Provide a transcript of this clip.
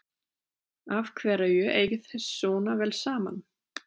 Af hverju eigið þið svona vel saman?